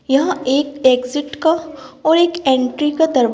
यहां एक एग्जिट का और एक एंट्री का दर--